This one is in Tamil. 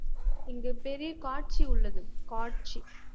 இங்கு பெரிய காட்சி உள்ளது காட்சி